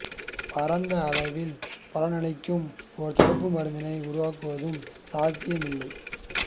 பரந்த அளவில் பலனளிக்கும் ஒரு தடுப்பு மருந்தினை உருவாக்குவதும் சாத்தியமில்லை